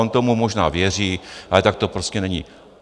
On tomu možná věří, ale tak to prostě není.